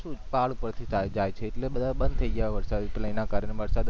પહાડ પર થી પાઈપ જાય છે એટલે બંધા બંધ થઈ ગયા વરસાદ અને play ના કારણે વરસાદ અને